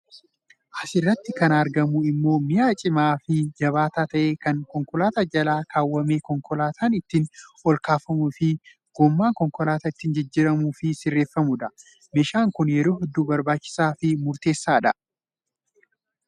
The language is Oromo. Asirratti kan argamu immoo mi'a cimaa fi jabaataa ta'e kan konkolaataa jala kaawwamee konkolaataan ittiin ol kaafamuu fi gommaan konkolaataa ittiin jijjiiramuu fi sirreeffamudha. Meeshaan kun yeroo hedduu barbaachisaa fi murteessaadha.